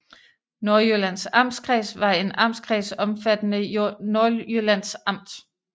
Nordjyllands Amtskreds var en amtskreds omfattende Nordjyllands Amt